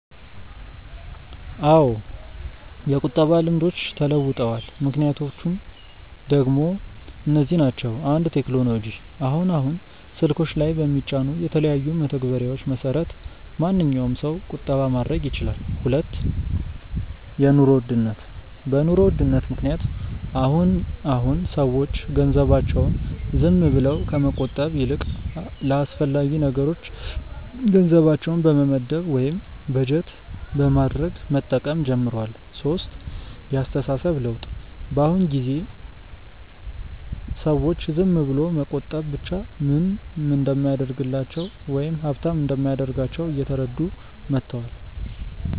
አዎ የቁጠባ ልምዶች ተለውጠዋል። ምክንያቶቹ ደሞ እነዚህ ናቸው፦ 1. ቴክኖሎጂ፦ አሁን አሁን ስልኮች ላይ በሚጫኑ የተለያዩ መተግበሪያዎች መሰረት ማንኛዉም ሰው ቁጠባ ማድረግ ይችላል 2. የኑሮ ውድነት፦ በ ኑሮ ውድነት ምክንያት አሁን አሁን ሰዎች ገንዘባቸውን ዝም ብለው ከመቆጠብ ይልቅ ለአስፈላጊ ነገሮች ገንዘባቸውን በመመደብ ወይም በጀት በማድረግ መጠቀም ጀምረዋል 3. የ አስተሳሰብ ለውጥ፦ በ አሁን ጊዜ ሰዎች ዝም ብሎ መቆጠብ ብቻ ምንም እንደማያደርግላቸው ወይም ሃብታም እንደማያደርጋቸው እየተረዱ መተዋል